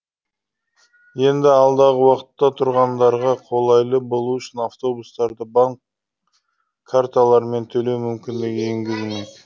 енді алдағы уақытта тұрғындарға қолайлы болуы үшін автобустарда банк карталырымен төлеу мүмкіндігі енгізілмек